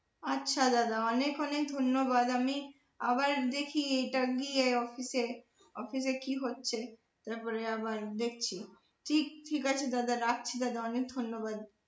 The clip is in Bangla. আচ্ছা দাদা অনেক অনেক ধন্যবাদ আমি আবার দেখি এটা গিয়ে office এ office এ কি হচ্ছে তারপরে আবার দেখছি ঠিক আছে দাদা রাখছি দাদা ধন্যবাদ।